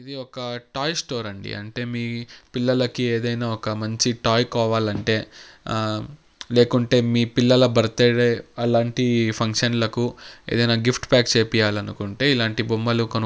ఇది ఒక toy store అండి అంటే మీ పిల్లలకి ఏదైనా ఒక మంచి టాయ్ కావాలంటే ఆ లేకుంటే మీ పిల్లల బర్త్ డే అలాంటి ఫంక్షన్ లకు ఏదైనా గిఫ్ట్ ప్యాక్ చేపియ్యాలనుకుంటే ఇలాంటి బొమ్మలు కొను.